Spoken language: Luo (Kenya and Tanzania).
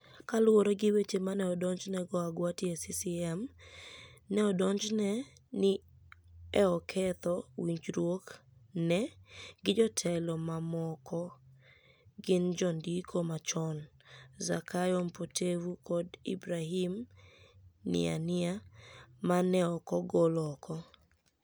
Kaluwore gi weche ma ni e odonijni ego Agwati e CCM,ni e odonijni e nii ni e oketho winijruokni e gi jotelo mamokogini jonidiko machoni, Zakayo mpotevu kod Ibrahim nianiai, ma ni e ok ogol oko.